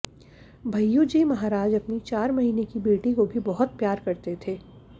भैय्यू जी महाराज अपनी चार महीने की बेटी को भी बहुत प्यार करते थे